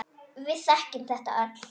Við þekkjum þetta öll.